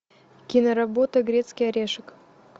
киноработа грецкий орешек